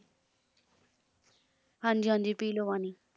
ਹਾਂਜੀ ਹਾਂਜੀ ਪੀ ਲਓ ਪਾਣੀ